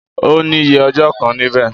N ò ní ye ọjọ́ kan níbẹ̀